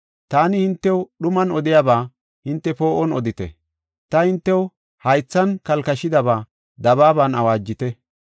Taani hintew dhuman odiyaba hinte poo7on odite; ta hintew haythan kalkashidaba dabaaban awaajite.